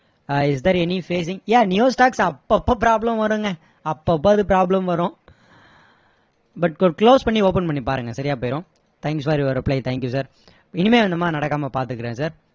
is there any facing yeah new stock அப்போ அப்போ problem வருங்க அப்போ அப்போ அது problem வரும் but close பண்ணி open பண்ணி பாருங்க சரியா போயிடும் thanks for your reply thank you sir இனிமே இந்த மாதிரி நடக்காம பாத்துக்கிறேன் sir